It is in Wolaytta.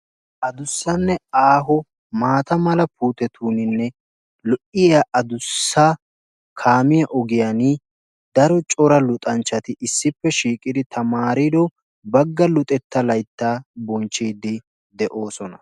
addussanne aaho mata mala puututeninne lo"iya addussa kaamiya ogiyaan daro cora luxanchchati issipp shiiqiidi tamaariddo bagga luxetta laytta bonchchide beettoosona